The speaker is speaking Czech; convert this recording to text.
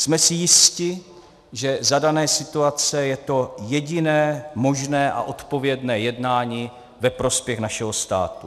Jsme si jisti, že za dané situace je to jediné možné a odpovědné jednání ve prospěch našeho státu.